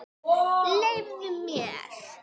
Leyfðu mér!